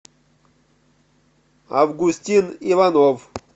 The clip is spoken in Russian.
августин иванов